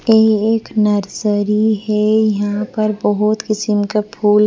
ये एक नर्सरी है यहां पर बहुत किसीम का फूल--